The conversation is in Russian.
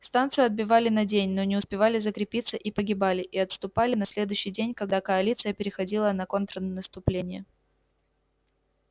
станцию отбивали на день но не успевали закрепиться и погибали и отступали на следующий день когда коалиция переходила в контрнаступление